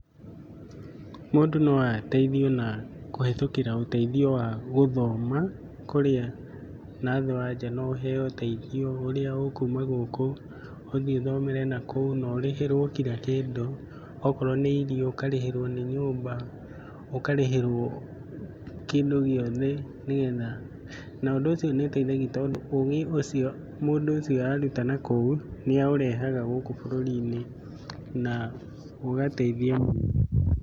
Mũndũ no ateithio na kũhĩtũkĩra ũteithio wa gũthoma, kũrĩa nathĩ wa nja no ũheo ũteithio ũrĩa ũkuma gũkũ ũthiĩ ũthomere nakũu, na ũrĩhĩrwo kira kĩndũ, okorwo nĩ irio ukarĩhĩrwo nĩ nyũmba, ũkarĩhĩrwo kĩndũ gĩothe nĩ getha. Na ũndũ ũcio nĩ ũteithagia tondũ ũgĩ ũcio mũndũ ũcio araruta nakũu, nĩ aũrehaga gũkũ bũrũri-inĩ na ũgateithia mũno.